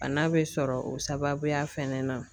Bana bɛ sɔrɔ o sababuya fɛnɛ na